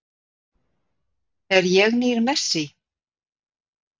Er ég nýr Messi?